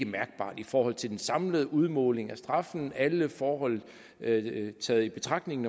mærkbart i forhold til den samlede udmåling af straffen med alle forhold taget i betragtning